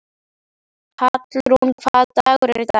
Hallrún, hvaða dagur er í dag?